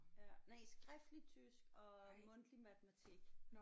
Ja nej skiftlig tysk og mundtlig matematik